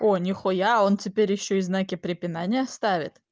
о нихуя он теперь ещё и знаки препинания ставит